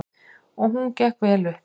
Og hún gekk vel upp.